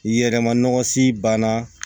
Yɛrɛma nɔgɔsi banna